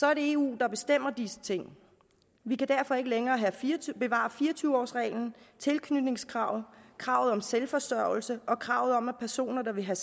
er det eu der bestemmer disse ting vi kan derfor ikke længere bevare fire og tyve års reglen tilknytningskravet kravet om selvforsørgelse og kravet om at personer der vil have